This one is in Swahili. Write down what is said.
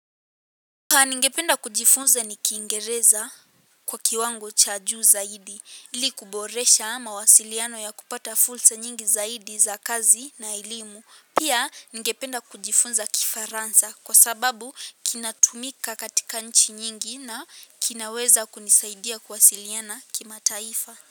Ningependa kujifunza ni kiingereza kwa kiwango cha juu zaidi ili kuboresha mawasiliano ya kupata fursa nyingi zaidi za kazi na elimu. Pia ningependa kujifunza kifaransa kwa sababu kinatumika katika nchi nyingi na kinaweza kunisaidia kuwasiliana kimataifa.